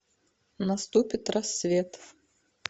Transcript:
наступит рассвет